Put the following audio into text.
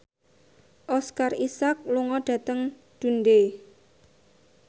Oscar Isaac lunga dhateng Dundee